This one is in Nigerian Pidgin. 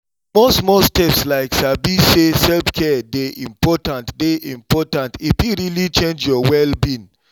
small-small steps like sabi say self-care dey important dey important e fit really change your well-being